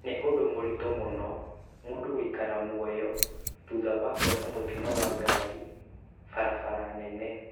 Nĩ ũndũ mũritũ mũno mũndũ gũikara muoyo thutha wa kuona mũtino wa ngari barabara nene